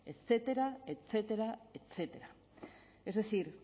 etcétera etcétera etcétera es decir